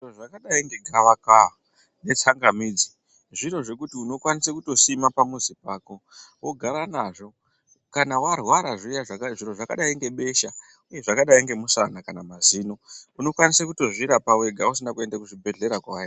Zviro zvakadai negava kava netsanga midzi zviro zvakadai zvinowanikwa pamuzi wako vogara nazvo kana warwara zviro zvakadai ngebesha zvakadai nemushana kana mazino unokwanisa kuzvirapa wega kwawo.